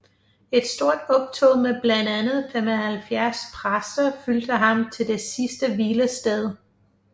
Et stort optog med blandt andet 75 præster fulgte ham til det sidste hvilested